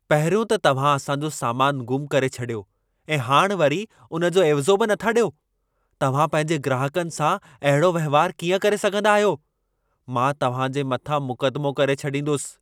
पहिरियों त तव्हां असां जो सामान ग़ुम करे छॾियो ऐं हाणि वरी उन जो एवज़ो बि नथा ॾियो। तव्हां पंहिंजे ग्राहकनि सां अहिड़ो वहिंवार कीअं करे सघंदा आहियो। मां तव्हां जे मथां मुकदमो करे छॾींदुसि।